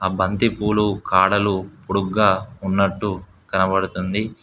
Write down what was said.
ఆ బంతి పూలు కాడలు పొడుగ్గా ఉన్నట్టు కనబడుతుంది.